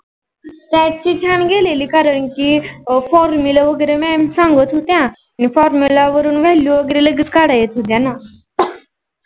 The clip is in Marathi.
साटं गेलेली कारण की formulamam सांगत होत्या आणि formula वरुण Value वगेरे लगेच काढया येत होत्याना.